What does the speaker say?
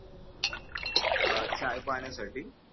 अं चायपाण्यासाठी